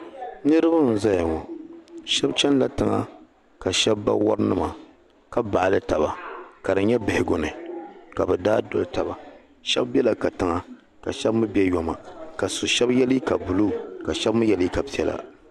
Niriba n zaya ŋɔ shɛb chani la tiŋa ka bari wari nima ka baɣili taba ka di nyɛ bihigu ni ka bɛ daa doli taba shɛb bela ka tiŋa ka shɛb mi be yɔma ka su shɛb ye liika buluu ka shɛb mi ye liika piɛla